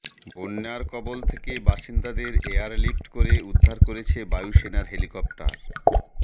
বন্যার কবল বাসিন্দাদের এয়ারলিফট করে উদ্ধার করছে বায়ুসেনার হেলিকপ্টার